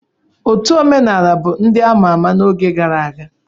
Otu omenala bụ ndị a ma ama n'oge gara aga.